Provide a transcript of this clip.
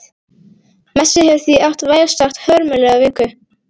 Messi hefur því átt vægast sagt hörmulega viku.